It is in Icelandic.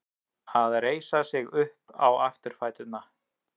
Að reisa sig upp á afturfæturna